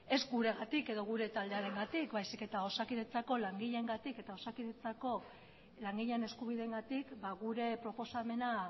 ez guregatik edo gure taldearengatik baizik eta osakidetzako langileengatik eta osakidetzako langileen eskubideengatik gure proposamena